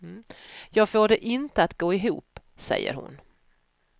Jag får det inte att gå ihop, säger hon.